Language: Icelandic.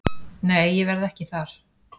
Nei ég verð ekki þar.